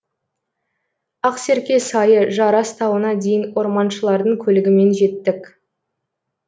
ақсерке сайы жарас тауына дейін орманшылардың көлігімен жеттік